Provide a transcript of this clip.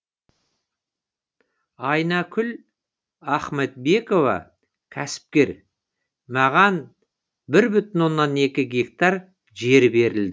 айнакүл ахмадбекова кәсіпкер маған бір бүтін оннан екі гектар жер берілді